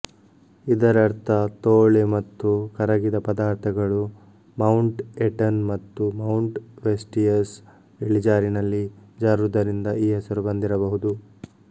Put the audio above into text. ಇದರರ್ಥ ತೋಳೆ ಮತ್ತು ಕರಗಿದ ಪದಾರ್ಥಗಳು ಮೌಂಟ್ ಎಟನ್ ಮತ್ತು ಮೌಂಟ್ ವೈಸ್ಟಿಯಸ್ ಇಳಿಜಾರಿನಲ್ಲಿ ಜಾರುವುದರಿಂದ ಈ ಹೆಸರು ಬಂದಿರಬಹುದು